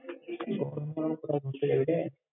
এই গরমে আর কোথায় ঘুরতে যাবি রে!